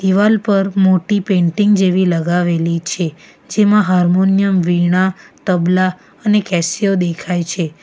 દિવાલ પર મોટ્ટી પેન્ટિંગ જેવી લગાવેલી છે જેમાં હાર્મોનિયમ વીણા તબલા અને કેસ્યો દેખાય છે.